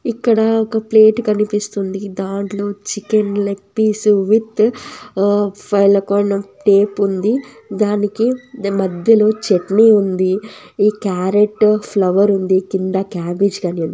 ఇక్కడ ఒక ప్లేట్ కనిపిస్తుంది దాంట్లో చికెన్ లెగ్ పీస్ విత్ ఆ ఫలకాన్ టేప్ ఉంది దానికి దాని మధ్యలో చట్నీ ఉంది క్యారెట్ ఫ్లవర్ ఉంది కింద క్యాబేజ్ గాని ఉంది.